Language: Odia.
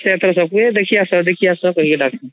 ସେ ତାର ସବୁ ଦେଖି ଆସ ଦେଖି ଆସ କହି ଡାକି ଦବାସୀ